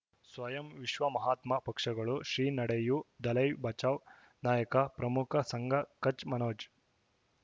ಸ್ವಯಂ ವಿಶ್ವ ಮಹಾತ್ಮ ಪಕ್ಷಗಳು ಶ್ರೀ ನಡೆಯೂ ದಲೈ ಬಚೌ ನಾಯಕ ಪ್ರಮುಖ ಸಂಘ ಕಚ್ ಮನೋಜ್